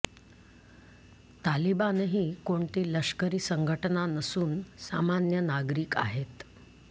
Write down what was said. तालिबानही कोणती लष्करी संघटना नसून सामान्य नागरीक आहेत